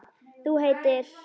Þú heitir?